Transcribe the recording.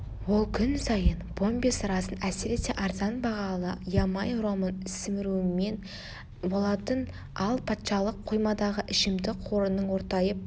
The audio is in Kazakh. ол күн сайын помбе сырасын әсіресе арзан бағалы ямай ромын сімірумен болатын ал патшалық қоймадағы ішімдік қорының ортайып